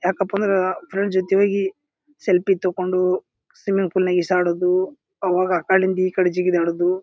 ಯಾಕಪ್ಪಾ ಅಂದ್ರ ಫ್ರೆಂಡ್ರ್ ಜೊತಿ ಹೋಗಿ ಸೆಲ್ಫಿ ತಕೊಂಡು ಸ್ವಿಮ್ಮಿಂಗ್ ಪೂಲ್ ನಾಗ ಈಜ್ ಆಡೋದು ಅವಾಗ ಆ ಕಡೆಯಿಂದ ಈ ಕಡೆ ಜಿಗಿದಾಡೋದು.